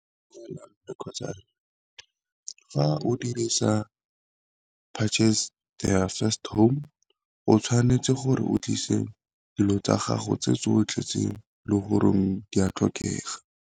kgotsa fa o dirisa purchase their first home, o tshwanetse gore o tlise dilo tsa gago tse tsotlhe tse le goreng di a tlhokega.